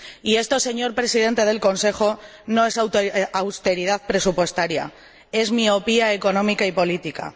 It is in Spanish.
Y esto, señor Presidente del Consejo, no es austeridad presupuestaria, es miopía económica y política.